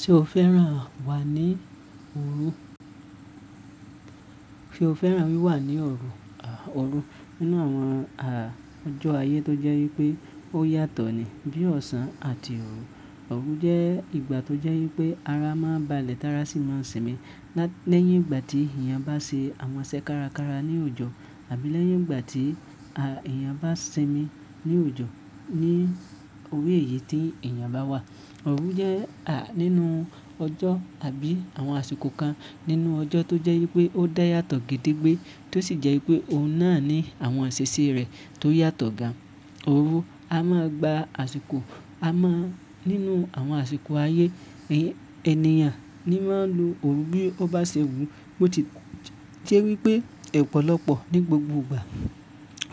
Ṣé o fẹ́ràn wà ní òru? Sé o fẹ́ràn wí wà ní òru? Òru nínú àwọn ọjọ́ ayé tó jẹ́ wípé ó yàtọ̀ ni bíi ọ̀sán àti òru. Òru jẹ́ ìgbà tó jẹ́ wípé ara máa ń ba lẹ̀ tára sì máa ń sinmi lẹ́yìn ìgbà tí èèyàn bá se àwọn iṣẹ́ kárakára ní oòjọ̀ àbí lẹ́yìn ìgbà tí èèyàn bá sinmi ní oòjọ̀. Ní orí èyí tí èèyàn bá wà. Òru jẹ́ nínú ọjọ́ àbí àwọn àsìkò kan nínú ọjọ́ tó jẹ́ wípé ó dá yàtọ̀ gédé gbé, tó sì jẹ́ wípé òun náà ní àwọn ìṣe sí rẹ̀ tó yàtọ̀ gan-an. Òru, a máa gba àsìkò a máa nínú àwọn àsìkò ayé ènìyàn ni máa ń lo òru bí ó bá ṣẹwù. Bó ti jẹ́ wípé ọ̀pọ̀lọpọ̀ ní gbogbo ìgbà.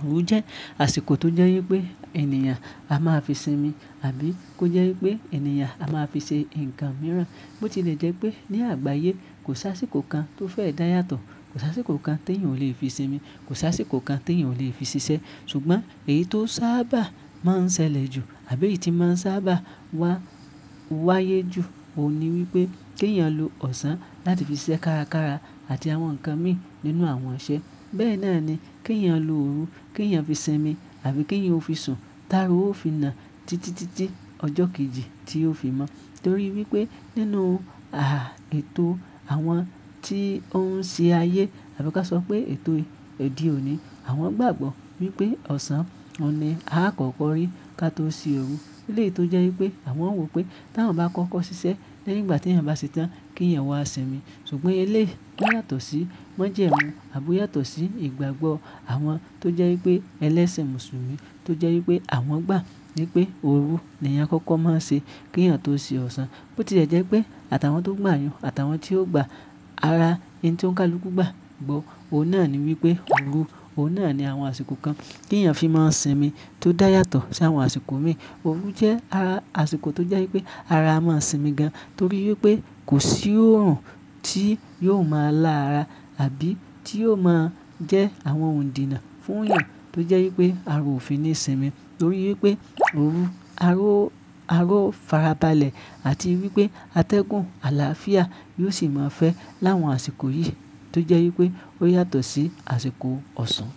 Òru jẹ́ àsìkò tó jẹ́ wípé èèyàn a máa fi sinmi àbí kó jẹ́ wípé èèyàn a máa fi ṣe ǹkan mìíràn. Ó ti lè jẹ́ pé ní àgbáyé kò sá sí kò kan tó fẹ́ dáyàtọ̀, kò sá sí kò kan tí èèyàn ò lè fi sinmi, kò sá sí kò kan tí èèyàn ò lè fi ṣiṣẹ́. Ṣùgbọ́n èyí tó sábà máa ń ṣẹlẹ̀ jù àbí èyí tí máa ń sábà wá wáyé jù, òun ni wípé kí èèyàn lo ọ̀sán láti fi ṣiṣẹ́ kárakára àti àwọn ǹkan mìí nínú àwọn iṣẹ́. Bẹ́ẹ̀ náà ni kí èèyàn lo òru, kí èèyàn fi sinmi àbí kí èèyàn ó fi sùn, tára ó fi nà títítítí ọjọ́ kejì tí ó fi mọ́. Nítorí wípé nínú ètò àwọn tí ó ń ṣe ayé àbí kí a sọ pé ètò òde òní, àwọn gbàgbọ́ wípé ọ̀sán ni a kò kọ́rí ká tó ṣe òru. Eléyìí tó jẹ́ wípé àwọn wò pé tí àwọn bá kọ́kọ́ ṣiṣẹ́ lẹ́yìn ìgbà tí èèyàn bá ṣetán kí èèyàn wá sinmi. Ṣùgbọ́n eléyìí kì í yàtọ̀ sí wọ́n jẹ́ wọn àbí yàtọ̀ sí ìgbàgbọ́ àwọn tó jẹ́ wípé ẹlẹ́sìn Mùsùlùmí tó jẹ́ wípé àwọn gbà ní pé òru ni èèyàn kọ́kọ́ máa ń ṣe kí èèyàn tó ṣe ọ̀sán. Ó ti lè jẹ́ pé àtàwọn tó gbà yẹn àtàwọn tí ó gba ara ẹni tí ó ń kálú guba gbọ́. Òun náà ni wípé òru, òun náà ni àwọn àsìkò kan kí èèyàn fi máa ń sinmi tó dá yàtọ̀ sí àwọn àsìkò mi. Òru jẹ́ ara àsìkò tó jẹ́ wípé ara a máa sinmi gan-an torí wípé kò sí òrùn tí yóò máa lá ara àbí tí yóò máa jẹ́ àwọn òǹdìnà fún èèyàn tó jẹ́ wípé ara ò fi ní sinmi. Torí wípé òru aró farabalẹ̀ àti wípé atẹ́gùn àlàáfíà yóò sì máa fẹ́ láwọn àsìkò yìí tó jẹ́ wípé ó yàtọ̀ sí àsìkò ọ̀sán.